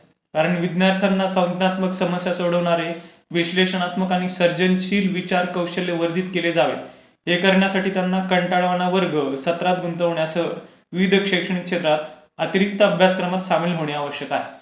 कारण विज्ञान त्यांना संज्ञात्मक समस्या सोडवणारे विश्लेषणात्मक आणि सर्जनशील विचार कौशल्य वर्धित केले जावे हे करण्यासाठी त्यांना कंटाळावाना वर्ग, सत्रात गुंतवण्यासह विविध शैक्षणिक क्षेत्रात अधिक अभ्यासक्रमात सामील होणे आवश्यक आहे.